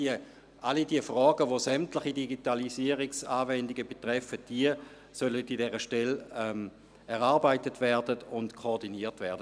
– All diese Fragen, welche sämtliche Digitalisierungsanwendungen betreffen, sollen von dieser Stelle erarbeitet und koordiniert werden.